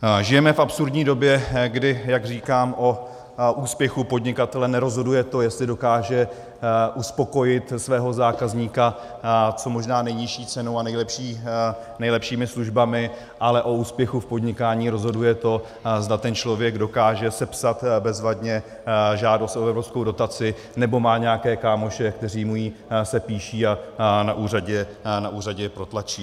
Žijeme v absurdní době, kdy, jak říkám, o úspěchu podnikatele nerozhoduje to, jestli dokáže uspokojit svého zákazníka co možná nejnižší cenou a nejlepšími službami, ale o úspěchu v podnikání rozhoduje to, zda ten člověk dokáže sepsat bezvadně žádost o evropskou dotaci nebo má nějaké kámoše, kteří mu ji sepíší a na úřadě protlačí.